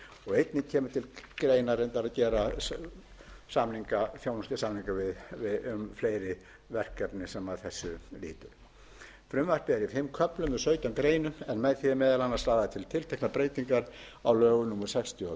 einnig kemur til greina reyndar að gera þjónustusamninga um fleiri verkefni sem að þessu lýtur frumvarpið er í fimm köflum og sautján greinum en með því er meðal annars lagðar til tilteknar breytingar á lögum númer sextíu og þrjú nítján hundruð áttatíu